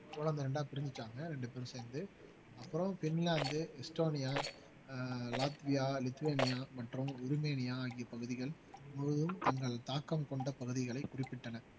போலந்தை இரண்டா பிரிஞ்சுட்டாங்க ரெண்டு பேரும் சேர்ந்து அப்புறம் பின்லாந்து ஈஸ்ட்டோனியா ஆஹ் லாட்வியா லிதுவேனியா மற்றும் உரிமேனியா ஆகிய பகுதிகள் முழுவதும் தங்கள் தாக்கம் கொண்ட பகுதிகளை குறிப்பிட்டனர்